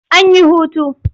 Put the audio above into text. An yi hutu.